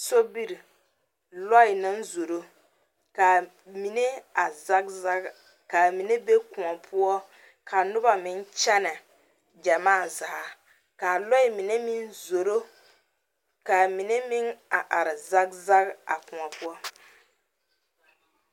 Sobiri, lɔɛ naŋ zoro, ka a mine a zag zag, ka a mine be kõɔ poɔ, ka noba meŋ kyɛnɛ gyamaa zaa, ka a lɔɛ mine meŋ zoro, ka a mine meŋ a are zag zag a kõɔ poɔ.